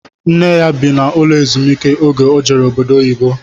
Nne ya bi n'ụlọ ezumiike oge o jere obodo oyibo